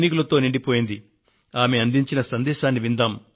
ఈ సైనిక కుటుంబ ప్రతినిధి ఏమన్నారో ఆలకిద్దాము మనము